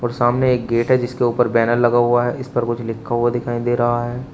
सामने एक गेट है जिसके उपर बैनर लगा हुआ है इस पर कुछ लिखा हुआ दिखाई दे रहा है।